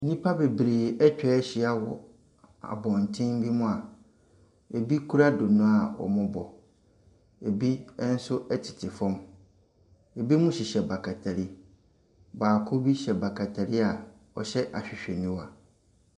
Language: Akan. Nnipa bebree atwa ahyia wɔ abɔntene bi mu a ɛbi kura donno a wɔrebɔ. Ɛbi nso tete fam. Ɛbinom hyehyɛ batakari. Baako bi hyɛ batakari a ɔhyɛ ahwehwɛniwa.